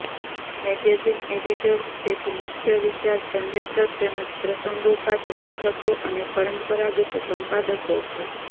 magazine editors તેથી મુખ્ય વિચાર જનરેટર તેમજ પ્રસંગોપાત લેખકો અને પરંપરાગત સંપાદકો છે